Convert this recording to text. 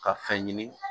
Ka fɛn ɲini